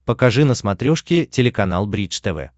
покажи на смотрешке телеканал бридж тв